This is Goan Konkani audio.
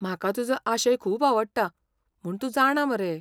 म्हाका तुजो आशय खूब आवडटा म्हूण तूं जाणा मरे.